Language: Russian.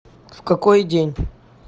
в какой день